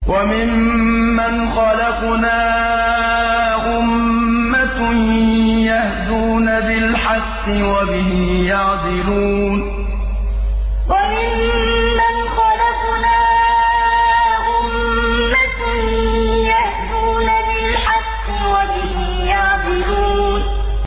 وَمِمَّنْ خَلَقْنَا أُمَّةٌ يَهْدُونَ بِالْحَقِّ وَبِهِ يَعْدِلُونَ وَمِمَّنْ خَلَقْنَا أُمَّةٌ يَهْدُونَ بِالْحَقِّ وَبِهِ يَعْدِلُونَ